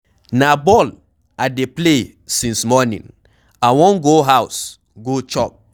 Na ball I dey play since morning, I wan go house go chop.